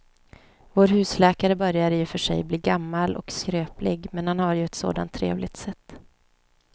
Vår husläkare börjar i och för sig bli gammal och skröplig, men han har ju ett sådant trevligt sätt!